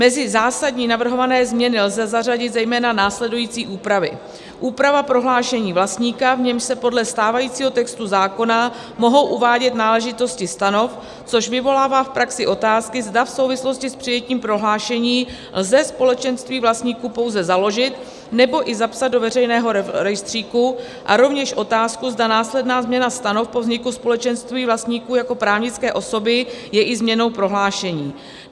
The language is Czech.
Mezi zásadní navrhované změny lze zařadit zejména následující úpravy: úprava prohlášení vlastníka, v němž se podle stávajícího textu zákona mohou uvádět náležitosti stanov, což vyvolává v praxi otázky, zda v souvislosti s přijetím prohlášení lze společenství vlastníků pouze založit, nebo i zapsat do veřejného rejstříku, a rovněž otázku, zda následná změna stanov po vzniku společenství vlastníků jako právnické osoby je i změnou prohlášení.